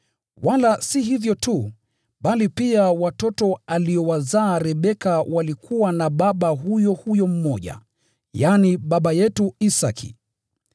Wala si hivyo tu, bali pia watoto aliowazaa Rebeka walikuwa na baba huyo huyo mmoja, yaani, baba yetu Isaki.